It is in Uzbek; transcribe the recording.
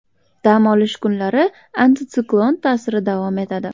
Dam olish kunlari antitsiklon ta’siri davom etadi.